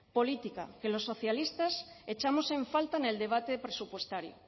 política que los socialistas echamos en falta en el debate presupuestario